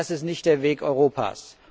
Das ist nicht der Weg Europas.